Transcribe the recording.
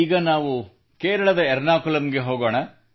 ಈಗ ನಾವು ಕೇರಳದ ಎರ್ನಾಕುಲಮ್ ಗೆ ಹೋಗೋಣ